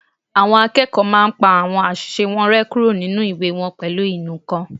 Àwọn akẹ́kọ̀ọ́ máa n pa àwọn àṣìṣe wọn rẹ́ kúrò nínu ìwé wọn pẹ̀lú ìnù-ǹkan